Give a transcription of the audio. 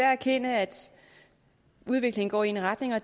erkende at udviklingen går i retning af